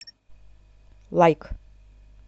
лайк